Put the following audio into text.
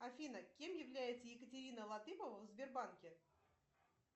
афина кем является екатерина латыпова в сбербанке